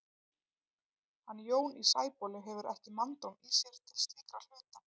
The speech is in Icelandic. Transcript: Hann Jón í Sæbóli hefur ekki manndóm í sér til slíkra hluta.